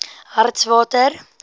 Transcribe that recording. hartswater